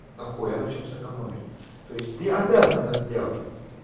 дохуя на чем сэкономить то есть ты обязан это сделать